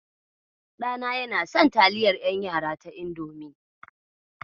Ɗana yana son taliyar ƴan yara ta Indomi.